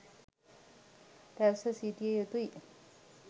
රැස්ව සිටිය යුතු යි.